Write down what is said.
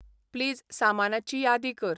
please सामानाची यादी कर